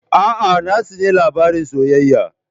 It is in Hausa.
A'a, na tsani labaran soyayya.